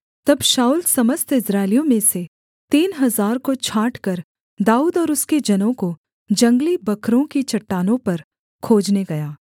तब शाऊल समस्त इस्राएलियों में से तीन हजार को छाँटकर दाऊद और उसके जनों को जंगली बकरों की चट्टानों पर खोजने गया